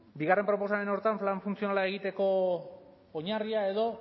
bigarren proposamen horretan plan funtzionala egiteko oinarria edo